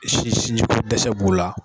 Si si ko dɛsɛ b'u la.